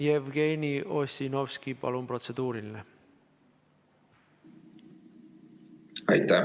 Jevgeni Ossinovski, palun, protseduuriline!